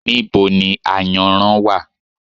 Níbo ni Ayanran wá?